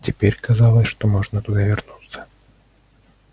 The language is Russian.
теперь казалось что можно туда вернуться